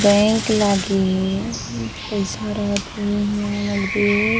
bank लागी पैसा रहत होही इंहा नकदी --